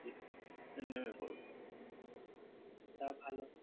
তা ভালো।